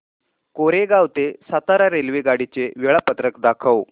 कोरेगाव ते सातारा रेल्वेगाडी चे वेळापत्रक दाखव